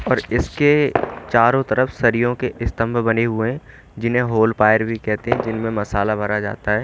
और इसके चारो तरफ सरियों के स्तंभ बने हुए जिन्हें होल पायर भी कहते हैं जिनमे मसाला भरा जाता हैं।